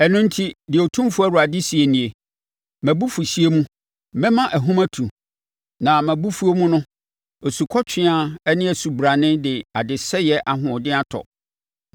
“Ɛno enti, deɛ Otumfoɔ Awurade seɛ nie: ‘Mʼabufuhyeɛ mu, mɛma ahum atu, na mʼabufuo mu no, asukɔtweaa ne osubrane de adesɛeɛ ahoɔden atɔ.